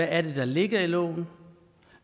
er der ligger i loven